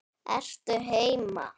Ertu heima?